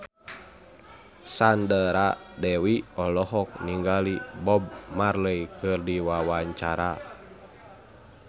Sandra Dewi olohok ningali Bob Marley keur diwawancara